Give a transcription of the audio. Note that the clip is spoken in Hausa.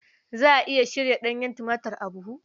Za a iya shirya ɗanyen tumatir a buhu?